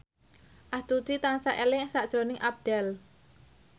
Astuti tansah eling sakjroning Abdel